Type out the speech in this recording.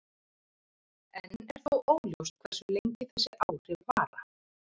Enn er þó óljóst hversu lengi þessi áhrif vara.